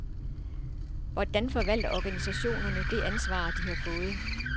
Hvordan forvalter organisationerne det ansvar, de har fået?